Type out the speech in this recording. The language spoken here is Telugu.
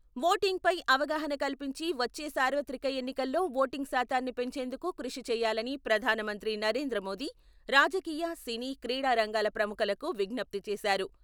ఓటింగ్పై అవగాహన కల్పించి వచ్చే సార్వత్రిక ఎన్నికల్లో ఓటింగ్ శాతాన్ని పెంచేందుకు కృషి చేయాలని ప్రధానమంత్రి నరేంద్రమోదీ రాజకీయ, సినీ, క్రీడా రంగ ప్రముఖలకు విజ్ఞప్తి చేశారు.